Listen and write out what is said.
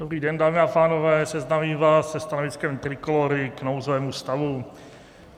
Dobrý den, dámy a pánové, seznámím vás se stanoviskem Trikolóry k nouzovému stavu.